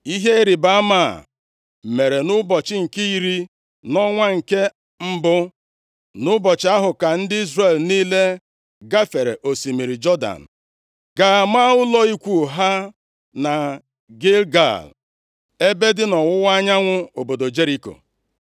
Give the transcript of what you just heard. Ihe ịrịbama a mere nʼụbọchị nke iri, nʼọnwa nke mbụ. Nʼụbọchị ahụ ka ndị Izrel niile gafere osimiri Jọdan, gaa maa ụlọ ikwu ha na Gilgal, ebe dị nʼọwụwa anyanwụ obodo Jeriko.